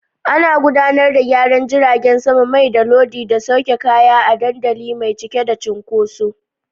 Ana gudanar da gyaran jiragen sama, mai, da lodi da sauke kaya a kan dandali mai cike da cunkoso.